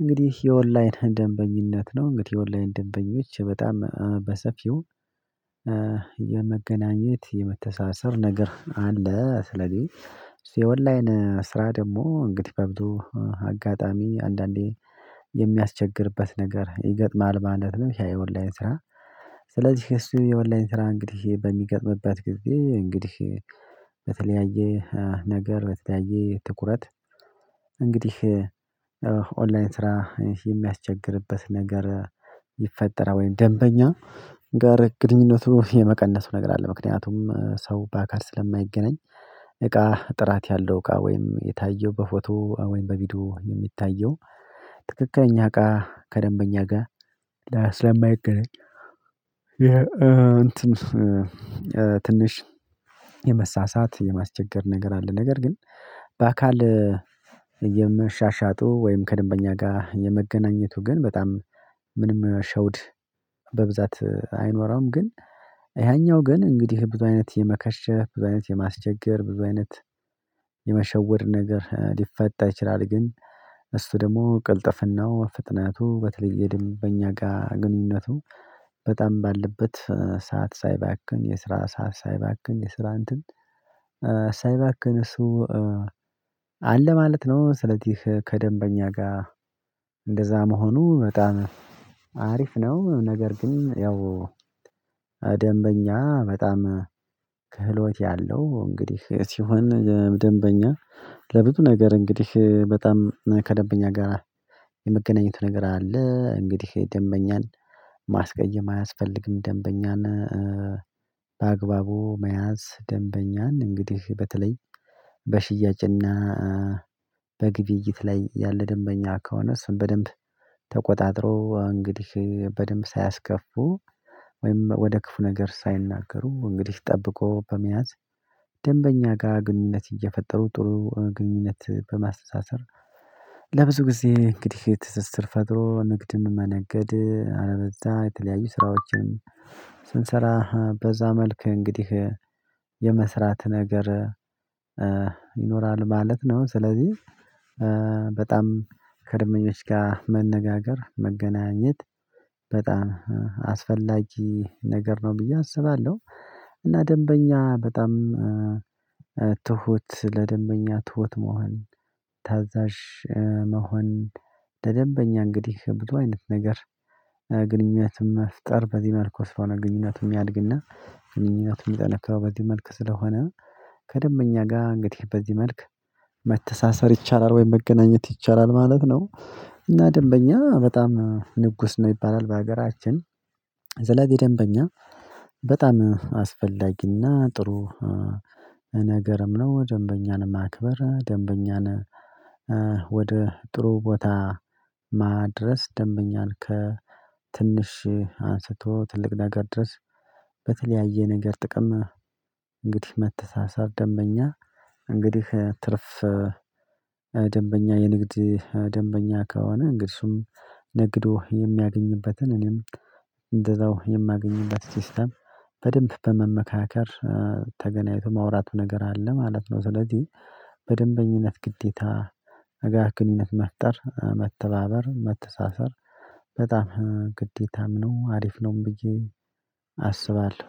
እንግዲህ የኦንላይን ደንበኝነት ነው። እንግዲህ የኦንላይን ደንበኞች በጣም በሰፊው የመገናኘት የመተሳሰር ነገር አለ። ስለዚህ ኦንላይን ስራ ደግሞ እንግዲህ በብዙ አጋጣሚ አንዳንዴ የሚያስቸግርበት ነገር ይገጥማል ማለት ነው። የኦንላይን ስራ ስለዚህ እሱ የኦንላይን ስራ እንግዲህ በሚገጥምበት ጊዜ እንግዲህ በተለያየ አይነት ነገር በተለያየ ትኩረት እንግዲህ ኦንላይን ስራ የሚያስቸግርበት ነገር ይፈጠራል ወይም ደንበኛ ጋር ግንኙነቱ የመቀነሱ ነገር አለ። ምክንያቱም ሰው በአካል ስለማይገናኝ እቃ ጥራት ያለው እቃ ወይም የታየው በፎቶ ወይም በቪዲዮ የሚታየው ትክክለኛ እቃ ከደንበኛ ጋር ስለማይገናኝ ይሄ እንትን ትንሽ የመሳሳት የማስቸገር ነገር አለ። ነገር ግን በአካል የምሻሻጡ ወይም ከደንበኛ ጋር የመገናኘቱ ግን በጣም ምንም ሸውድ በብዛት አይኖረውም ግን ያኛው ግን እንግዲህ ብዙ አይነት የመከሸፍ ብዙ አይነት የማስቸገር ብዙ አይነት የመሸወድ ነገር ሊፈጠር ይችላል። ግን እሱ ደግሞ ቅልጥፍናው ፍጥነቱ በተለይ የደንበኛ ጋር ግንኙነቱ በጣም ባለበት ሰዓት ሳይባክን የስራ ሰዓት ሳይባክን የስራ እንትን ሳይባክን እሱ አለ ማለት ነው። ስለዚህ ከደንበኛ ጋር እንደዚያ መሆኑ በጣም አሪፍ ነው። ነገር ግን ያው ደንበኛ በጣም ክህሎት ያለው እንግዲህ ሲሆን ደንበኛ ለብዙ ነገር እንግዲህ በጣም ከደንበኛ ጋር የመገናኘት ነገር አለ እንግዲህ ደንበኛን ማስቀየም አያስፈልግም። ደንበኛን በአግባቡ መያዝ ደንበኛን እንግዲህ በተለይ በሽያጭና በግብይት ላይ ያለ ደንበኛ ከሆነ እሱን በደንብ ተቆጣጥሮ እንግዲህ በደንብ ሳያስከፉ ወይም ወደ ክፉ ነገር ሳይናገሩ እንግዲህ ጠብቆ በመያዝ ደንበኛ ጋር ግንኙነት እየፈጠሩ ጥሩ ግንኙነት በማስተሳሰር ለብዙ ጊዜ እንግዲህ ትስስር ፈጥሮ ንግድ መነገድ አለበለዚያ የተለያዩ ስራዎችን ስንሰራ በዚያ መልክ እንግዲህ የመስራት ነገር ይኖራል ማለት ነው። ስለዚህ በጣም ከደንበኞች ጋር መነጋገር መገናኘት በጣም አስፈላጊ ነገር ነው ብዬ አስባለሁ። እና ደንበኛ በጣም ትሁት ለደንበኛ ትሁት መሆን ታዛዥ መሆን ለደንበኛ እንግዲህ ብዙ አይነት ነገር ግንኙነት መፍጠር በዚህ መልኩ ስለሆነ ግንኙነት የሚያድግና ግንኙነት የሚጠነክረው በዚህ መልክ ስለሆነ ከደንበኛ ጋር እንግዲህ በዚህ መልክ መተሳሰር ይቻላል ወይ መገናኘት ይቻላል ማለት ነው። እና ደንበኛ በጣም ንጉስ ነው ይባላል በሀገራችን ስለዚህ ደንበኛ በጣም አስፈላጊና ጥሩ ነገርም ነው። ደንበኛን ማክበር ደንበኛን ወደ ጥሩ ቦታ ማድረስ ደንበኛን ከትንሽ አንስቶ ትልቅ ነገር ድረስ በተለያየ ነገር ጥቅም እንግዲህ መተሳሰብ ደንበኛ እንግዲህ ትርፍ ደንበኛ የንግድ ደንበኛ ከሆነ እንግዲህ እሱም ንግዶ የሚያገኝበትን እኔም እንደዛው የማገኝበት ሲስተም በደንብ በመመካከር ተገናኝቶ ማውራቱ ነገር አለ ማለት ነው። ስለዚህ በደንበኝነት ግዴታ ጋር ግንኙነት መፍጠር መተባበር መተሳሰብ በጣም ግዴታም ነው አሪፍ ነውም ብዬ አስባለሁ።